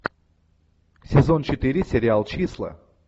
сезон четыре сериал числа